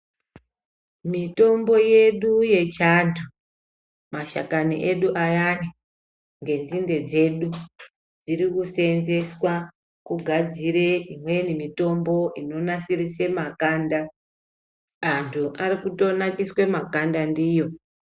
Mitombo yedu yechi antu mashakani edu ayani nge nzinde dzedu dziriku senzeswa kugadzire imweni mitombo ino nasirise makanda antu arikuto nakiswe makanda ndiyo.